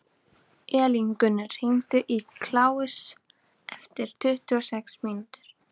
Elíngunnur, hringdu í Kláus eftir tuttugu og sex mínútur.